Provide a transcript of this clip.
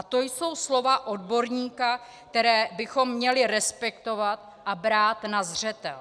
A to jsou slova odborníka, která bychom měli respektovat a brát na zřetel.